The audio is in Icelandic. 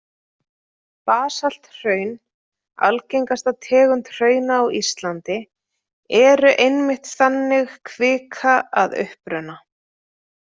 Basalthraun, algengasta tegund hrauna á Íslandi, eru einmitt þannig kvika að uppruna.